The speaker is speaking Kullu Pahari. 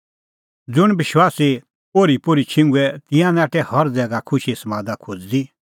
ज़ुंण विश्वासी ओर्हीपोर्ही छिंघुऐ तिंयां नाठै हर ज़ैगा खुशीए समादा खोज़दी